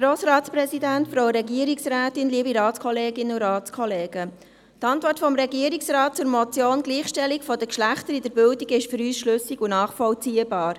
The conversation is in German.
Die Antwort des Regierungsrates zur Motion «Gleichgestellung der Geschlechter in der Bildung» ist für uns schlüssig und nachvollziehbar.